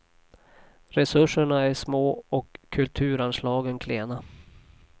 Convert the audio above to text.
Resurserna är små och kulturanslagen klena.